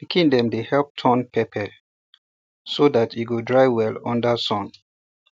pikin dem dey help turn pepper so um dat um e go dry well under um sun